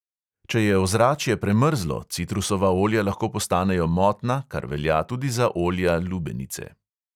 Če je ozračje premrzlo, citrusova olja lahko postanejo motna, kar velja tudi za olja lubenice.